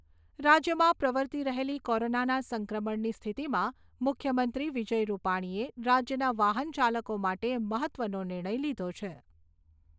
રાજ્યમાં પ્રર્વતી રહેલી કોરોના સંક્રમણની સ્થિતિમાં મુખ્યમંત્રી વિજય રૂપાણીએ રાજ્યના વાહન ચાલકો માટે મહત્ત્વનો નિર્ણય લીધો છે.